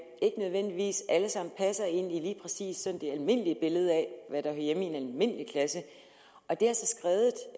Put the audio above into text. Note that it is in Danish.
ikke nødvendigvis alle sammen passer ind i lige præcis det almindelige billede af hvad der hører hjemme i en almindelig klasse og det